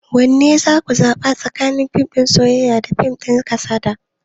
Wanne za ku zaɓa tsakanin fim din soyayya da fim din kasada?